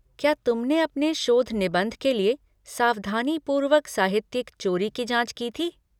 क्या तुमने अपने शोध निबंध के लिए सावधानीपूर्वक साहित्यिक चोरी की जाँच की थी?